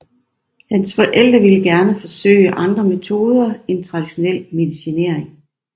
Hans forældre vil gerne forsøge andre metoder end traditionel medicinering